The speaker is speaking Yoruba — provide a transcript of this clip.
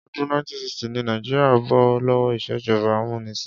Ọdún 1960 ni Nàìjíríà bó lówó ìṣèjọba amúnisìn.